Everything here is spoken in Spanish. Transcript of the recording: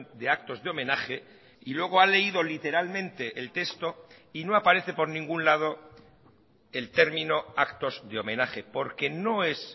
de actos de homenaje y luego ha leído literalmente el texto y no aparece por ningún lado el término actos de homenaje porque no es